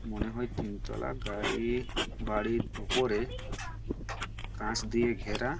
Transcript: মনে হয় তিনতলা গাড়ি-ই বাড়ির ওপরে কাঁচ দিয়ে ঘেরা-আ--